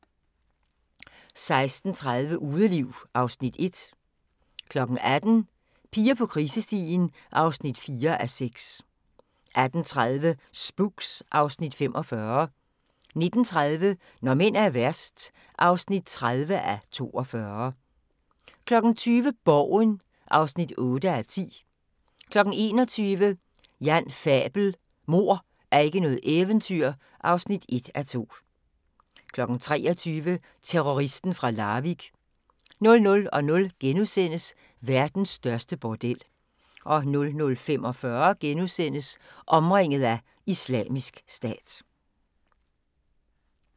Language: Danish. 16:30: Udeliv (Afs. 1) 18:00: Piger på krisestien (4:6) 18:30: Spooks (Afs. 45) 19:30: Når mænd er værst (30:42) 20:00: Borgen (8:10) 21:00: Jan Fabel: Mord er ikke noget eventyr (1:2) 23:00: Terroristen fra Larvik 00:00: Verdens største bordel * 00:45: Omringet af Islamisk Stat *